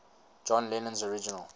john lennon's original